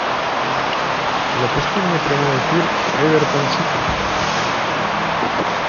запусти мне прямой эфир эвертон сити